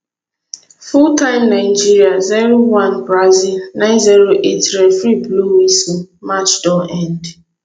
full time nigeria zero one brazil nine zero eight referee blow whistle match don end